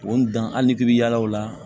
O dan ali k'i bi yaala o la